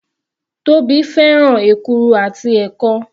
Tóbi fẹ́ràn èkuru àti ẹ̀kọ.